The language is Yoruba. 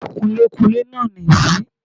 Kunlékunlé náà nì yí